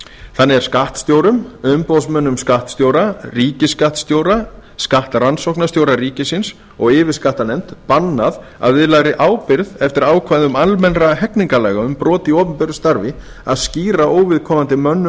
þannig er skattstjórum umboðsmönnum skattstjóra ríkisskattstjóra skattrannsóknarstjóra ríkisins og yfirskattanefnd bannað að viðlagðri ábyrgð eftir ákvæðum almennra hegningarlaga um brot í opinberu starfi að skýra óviðkomandi mönnum